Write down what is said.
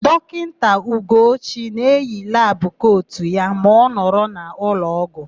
Dọkịta Ugochi na-eyi labụ kotu ya ma ọ nọrọ n'ụlọọgwụ.